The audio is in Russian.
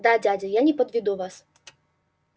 да дядя я не подведу вас